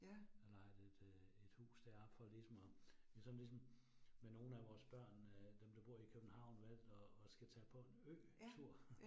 Jeg lejede et øh et hus deroppe for ligesom at det var sådan ligesom, med nogle af vores børn øh, dem der bor i København valgt at at skal tage på en øtur